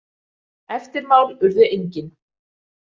Eftirmál urðu engin.